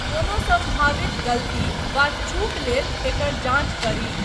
कोनो संभावित गलती वा चूक लेल एकर जाँच करी।